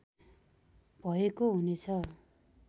भएको हुने छ